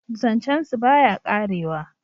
zancen su ba ya karewa